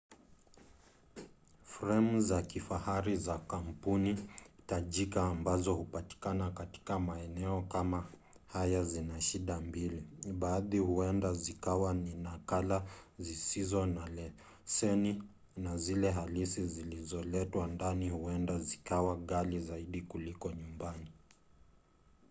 fremu za kifahari za kampuni tajika ambazo hupatikana katika maeneo kama haya zina shida mbili; baadhi huenda zikawa ni nakala zisizo na leseni na zile halisi zilizoletwa ndani huenda zikawa ghali zaidi kuliko nyumbani